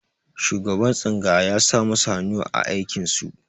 Shugaban tsangaya ya sa masu hannu a aikin su.